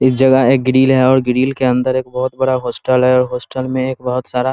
इस जगह एक ग्रिल है और ग्रिल के अंदर एक बहुत बड़ा होस्टल है होस्टल में एक बहुत सारा --